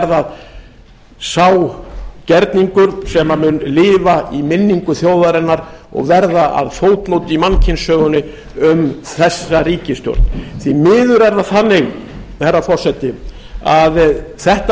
það sá gerningur sem mun lifa í minningu þjóðarinnar og verða að fótmót í mannkynssögunni um þessa ríkisstjórn því miður er það þannig herra forseti að þetta